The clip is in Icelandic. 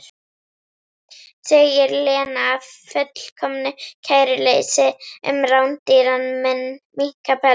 segir Lena af fullkomnu kæruleysi um rándýran minkapels.